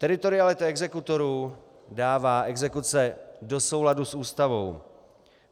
Teritorialita exekutorů dává exekuce do souladu s Ústavou.